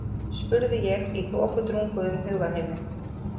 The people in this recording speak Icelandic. spurði ég í þokudrunguðum hugarheimi.